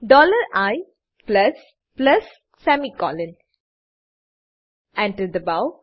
dollar I plus plus semicolon Enter enter દબાવો